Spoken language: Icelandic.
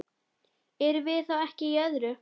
Erum við þá ekki í öðru?